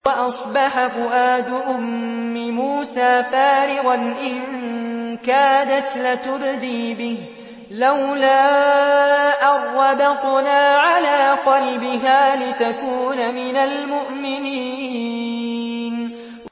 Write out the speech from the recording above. وَأَصْبَحَ فُؤَادُ أُمِّ مُوسَىٰ فَارِغًا ۖ إِن كَادَتْ لَتُبْدِي بِهِ لَوْلَا أَن رَّبَطْنَا عَلَىٰ قَلْبِهَا لِتَكُونَ مِنَ الْمُؤْمِنِينَ